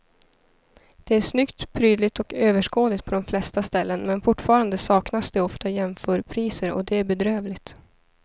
Det är snyggt, prydligt och överskådligt på de flesta ställena men fortfarande saknas det ofta jämförpriser och det är bedrövligt.